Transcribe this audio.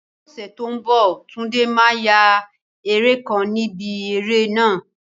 Ní ọ̀sẹ̀ tó ń bọ̀, Tunde máa ya eré kan ni ibi eré náà.